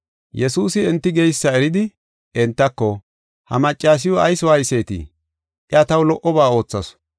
Yesuusi enti geysa eridi, entako, “Ha maccasiw ayis waaysetii? Iya taw lo77oba oothasu.